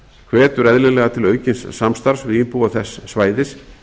hvetur eðlilega til aukins samstarfs við íbúa þess svæðis